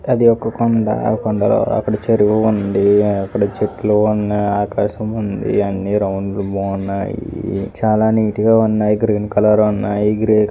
అది ఒక కొండ ఆ కొండల అక్కడ చెరువు ఉంది. అక్కడ చెట్లు ఉన్నాయి ఆకాశముంది అన్ని రౌండ్ గా బాగున్నాయ్. చాలా నీట్ గా ఉన్నాయి. గ్రీన్ కలర్ లో ఉన్నాయి. గ్రే--